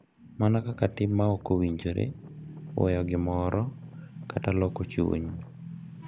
Mana kaka tim ma ok owinjore, weyo gimoro, kata loko chuny,